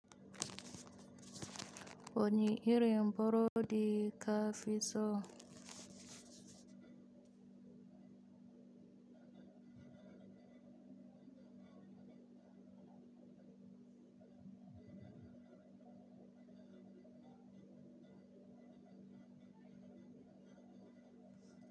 Wani irin burodi ka fi so?